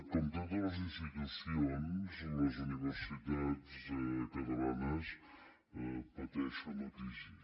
com totes les institucions les universitats catalanes pateixen la crisi